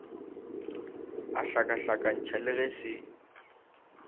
a hlakahlakantšha le ge se